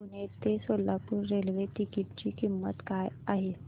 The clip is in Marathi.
पुणे ते सोलापूर रेल्वे तिकीट ची किंमत काय आहे